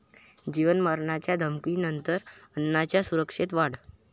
जीवे मारण्याच्या धमकीनंतर अण्णांच्या सुरक्षेत वाढ